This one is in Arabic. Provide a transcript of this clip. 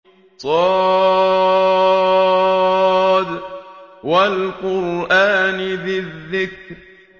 ص ۚ وَالْقُرْآنِ ذِي الذِّكْرِ